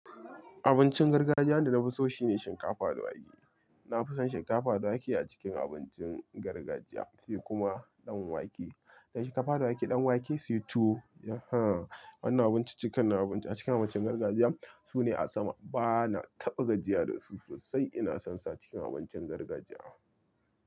Abincin gargajiya wanda na fi so shine shinkafa da wake. Na fi son shinkafa da wake a cikin abincin gargajiya sai kuma ɗan wake. Shinkafa da wake, ɗan wake, sai tuwo. Ehem Wannan abinciccikan a cikin abincin gargajiya. Su ne a sama. Bana taɓa gajiya da su sosai ina son su acikin abincin gargajiya.